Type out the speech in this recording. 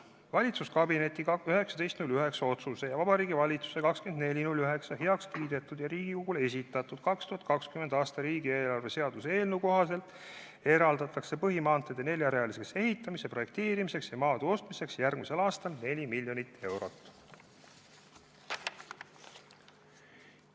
Valitsuskabineti 19. septembri otsuse ning Vabariigi Valitsuse 24. septembril heakskiidetud ja Riigikogule esitatud 2020. aasta riigieelarve seaduse eelnõu kohaselt eraldatakse põhimaanteede neljarealiseks ehitamise projekteerimiseks ja maade ostmiseks järgmisel aastal 4 miljonit eurot.